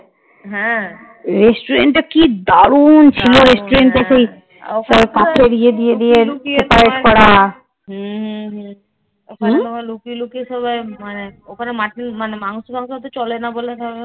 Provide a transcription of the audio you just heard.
লুকিয়ে লুকিয়ে সবাই মানে ওখানে mutton মানে মাংস মাংস চলে না বলে তবে